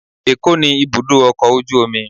ẹkọ ni ibudọ ọkọ ojú omí